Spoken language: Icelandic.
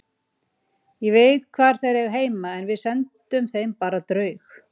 Ég veit hvar þeir eiga heima og við sendum þeim bara draug.